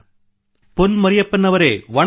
ಪೊನ್ ಮರಿಯಪ್ಪನ್ ಅವರೆ ವಣಕ್ಕಂ